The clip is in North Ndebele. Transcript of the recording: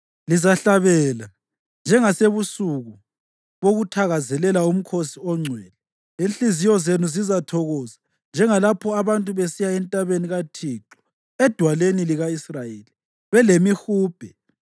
Lizahlabela njengasebusuku bokuthakazelela umkhosi ongcwele; inhliziyo zenu zizathokoza njengalapho abantu besiya entabeni kaThixo, eDwaleni lika-Israyeli, belemihubhe.